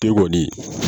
Te kɔni